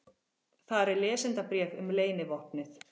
Þar er lesendabréf um leynivopnið.